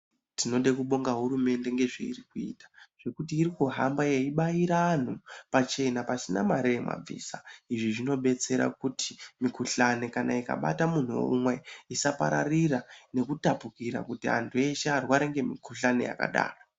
Tinoda kubonga hurumende ngezveiri kuita, zvekuti iri kuhamba yeibaira anhu pachena pasina mare yemabvisa . Izvi zvinobetsera kuti mikuhlane kana ikabata munhu umwe isapararira nekutapukira kti antu eshe arware nemikuhlane yakadaro